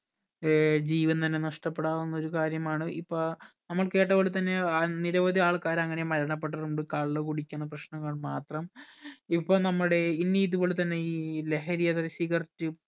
ഏർ ജീവൻ തന്നെ നഷ്ടപ്പെടാവുന്ന ഒരു കാര്യമാണ് ഇപ്പ നമ്മൾ കേട്ടപോലെ തന്നെ നിരവധി ആൾക്കാർ അങ്ങനെ മരണപ്പെട്ടിട്ടുണ്ട് കള്ള് കുടിക്കുന്ന പ്രശ്നങ്ങൾ മാത്രം